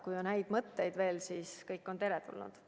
Kui on häid mõtteid, siis kõik on teretulnud.